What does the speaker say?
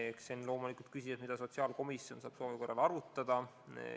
Eks see on loomulik küsimus, mida sotsiaalkomisjon saab soovi korral arutada.